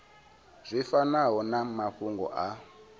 zwi fanaho na mafhungo a